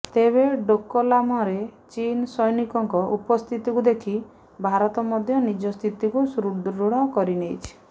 ତେବେ ଡୋକଲାମରେ ଚୀନ୍ ସୈନିକଙ୍କ ଉପସ୍ଥିତିକୁ ଦେଖି ଭାରତ ମଧ୍ୟ ନିଜ ସ୍ଥିତିକୁ ସୁଦୃଢ଼ କରିନେଇଛି